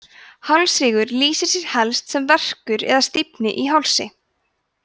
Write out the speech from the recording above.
hálsrígur lýsir sér helst sem verkur eða stífni í hálsi